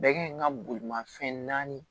Bɛɛ kan ɲi ka bolimafɛn naani